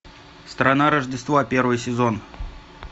страна рождества первый сезон